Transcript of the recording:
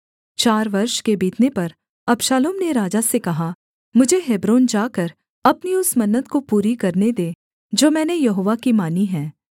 चार वर्ष के बीतने पर अबशालोम ने राजा से कहा मुझे हेब्रोन जाकर अपनी उस मन्नत को पूरी करने दे जो मैंने यहोवा की मानी है